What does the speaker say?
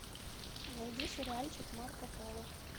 найди сериальчик марко поло